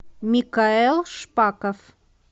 микаэл шпаков